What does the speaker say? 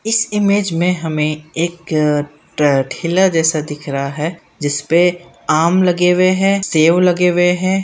इस इमेज में हमें एक ठेला जैसा दिख रहा है जिस पर आम लगे हुए है| सेव लगे हुए है।